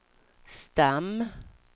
stam